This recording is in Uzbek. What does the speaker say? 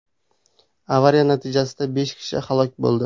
Avariya natijasida besh kishi halok bo‘ldi.